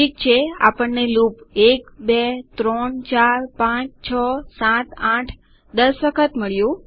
ઠીક છે આપણને લૂપ 1234567810 વખત મળ્યું